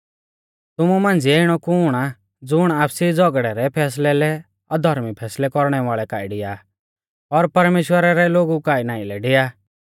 तुमु मांझ़िऐ इणौ कुण आ ज़ुण आपसी झ़ौगड़ै रै फैसलै लै अधर्मी फैसलै कौरणै वाल़ै काऐ डिआ और परमेश्‍वरा रै लोगु काऐ नाईं लै डिआ